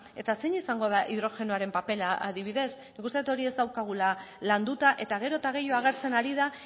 eta zein izango da hidrogenoaren papera adibidez nik uste dut hori ez daukagula landuta eta gero eta gehiago agertzen ari da